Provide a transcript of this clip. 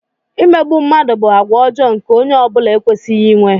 Imegbu mmadụ bụ àgwà ọjọọ nke onye ọ bụla ekwesịghị inwe.